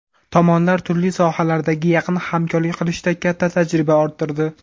Tomonlar turli sohalardagi yaqin hamkorlik qilishda katta tajriba orttirdi.